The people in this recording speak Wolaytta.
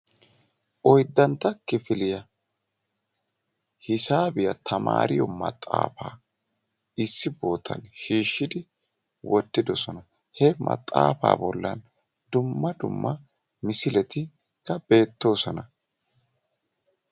oyddantta kifiliyaa hisaabiyaa tamariyoo maxaafa issi bootan shiishshidi wottidoosona; he maxaafa bollan dumma duma misileti beettoosona